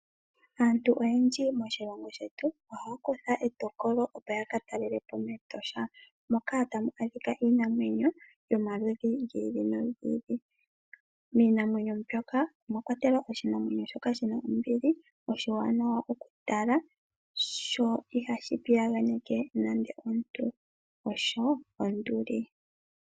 Aantu yomoshilongo osho wo kondje yoshilongo ohaya talele po oshikunino shopashigwana shiinamwenyo Etosha. Ohamu adhikwa iinamwenyo yomaludhi ogendji ngaashi oonduli. Ehala ndika olya gamenwa kepangelo.